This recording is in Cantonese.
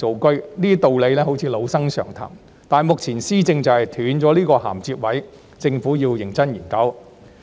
雖然這些道理好像老生常談，但目前施政就是斷了這個銜接位，政府要認真研究。